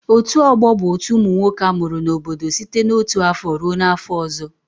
Otu ọgbọ bụ otu umunwoke amụrụ n'obodo site na otu afọ ruo na afọ ọzọ.